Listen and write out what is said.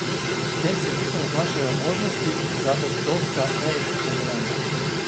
S tem se bistveno zmanjšajo možnosti za odklonska, neetična dejanja.